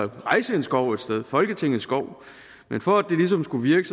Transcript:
rejse en skov et sted folketingets skov men for at det ligesom skulle virke